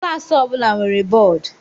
Klaasị ọbụla nwere bọọdụ.